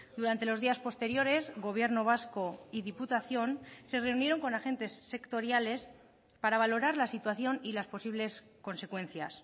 durante los días posteriores gobierno vasco y diputación se reunieron con agentes sectoriales para valorar la situación y las posibles consecuencias